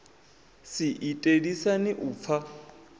si ite lisani u pfa